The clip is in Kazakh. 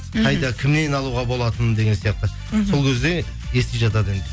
мхм қайда кімнен алуға болатын деген сияқты мхм сол кезде ести жатады енді